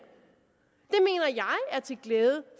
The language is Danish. er til glæde